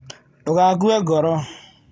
Ndũgakue ngoro.